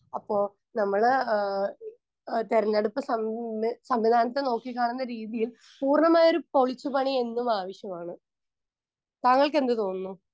Speaker 1 അപ്പൊ നമ്മള് ആഹ് ആഹ് തെരഞ്ഞെടുപ്പ് സംവി സംവിധാനത്തെ നോക്കിക്കാണുന്ന രീതിയിൽ പൂർണ്ണമായൊരു പൊളിച്ചു പണി എന്നുമാവശ്യമാണ്. താങ്കൾക്കെന്തു തോന്നുന്നു?